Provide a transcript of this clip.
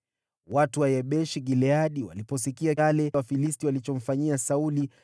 Watu wa Yabeshi-Gileadi waliposikia yale Wafilisti walichomfanyia Sauli,